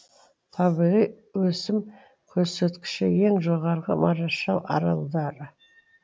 табиғи өсім көрсеткіші ең жоғарғы марашалл аралдары